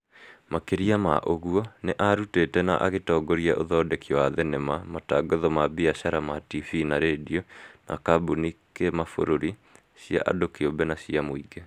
Makĩria ma ũguo, nĩ aarutĩte na agĩtongoria ũthoneki wa thenema , matangatho ma biacara ma tibi na redio ma kambuni kĩmabũrũri, cia andu kĩũmbe na cia mũingĩ.